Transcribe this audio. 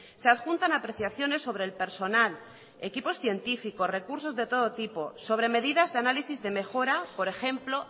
se adjuntan apreciaciones sobre el personal equipos científicos recursos de todo tipo sobre medidas de análisis de mejora por ejemplo